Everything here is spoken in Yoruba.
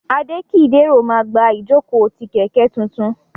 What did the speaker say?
Adekidero ma gba ijoko ti kẹkẹ tuntun.